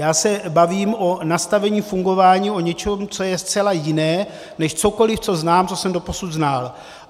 Já se bavím o nastavení fungování, o něčem, co je zcela jiné než cokoliv, co znám, co jsem doposud znal.